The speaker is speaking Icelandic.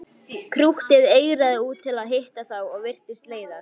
Krúttið eigraði út til að hitta þá og virtist leiðast.